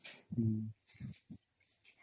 noise